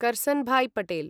Karsanbhai Patel